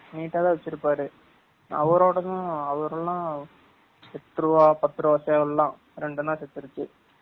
neat ஆ தான் வச்சு இருபாரு அவரோடதும் அவர் எல்லம் எட்டு ருவா பத்து ருவா சேவல் எல்லம் ரெண்டு என்னம் சீதுருச்சு